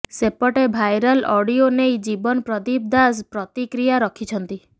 ସେପଟେ viral audio ନେଇ ଜୀବନ ପ୍ରଦୀପ ଦାସ ପ୍ରତିକ୍ରିୟା ରଖିଛନ୍ତି